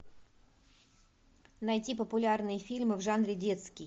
найти популярные фильмы в жанре детский